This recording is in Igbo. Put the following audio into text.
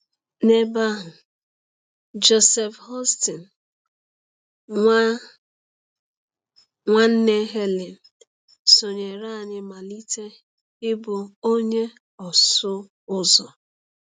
N’ebe ahụ, Joseph Houston, nwa nwanne Helen, sonyeere anyị malite ịbụ onye ọsụ ụzọ.